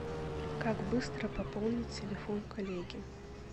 как быстро пополнить телефон коллеги